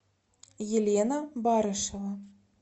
елена барышева